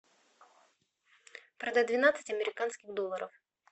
продать двенадцать американских долларов